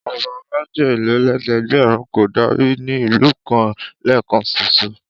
Ọba méjelélẹ́ẹ̀dẹ́gbẹ̀rún kò lè dárí ní ìlú kan lẹ́ẹ̀kan ṣoṣo.